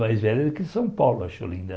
Mais velha do que São Paulo, acho Olinda.